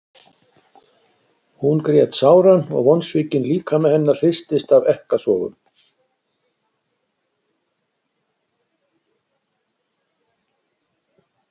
Hún grét sáran og vonsvikinn líkami hennar hristist af ekkasogum.